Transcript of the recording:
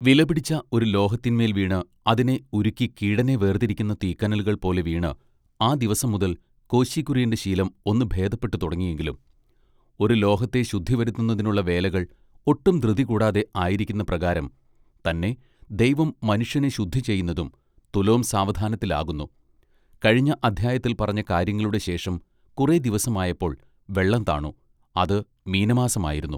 വിലപിടിച്ച ഒരു ലോഹത്തിന്മേൽ വീണ് അതിനെ ഉരുക്കി കീടനെ വേർതിരിക്കുന്ന തീക്കനലുകൾ പോലെ വീണ് ആ ദിവസം മുതൽ കോശി കുര്യന്റെ ശീലം ഒന്നു ഭേദപ്പെട്ടുതുടങ്ങി എങ്കിലും ഒരു ലോഹത്തെ ശുദ്ധിവരുത്തുന്നതിനുള്ള വേലകൾ ഒട്ടും ധൃതി കൂടാതെ ആയിരിക്കുന്ന പ്രകാരം തന്നെ ദൈവം മനുഷ്യനെ ശുദ്ധിചെയ്യുന്നതും തുലോം സാവധാനത്തിൽ ആകുന്നു:-- കഴിഞ്ഞ അദ്ധ്യായത്തിൽ പറഞ്ഞ കാര്യങ്ങളുടെ ശേഷം കുറെദിവസമായപ്പോൾ വെള്ളം താണു അത് മീനമാസം ആയിരുന്നു.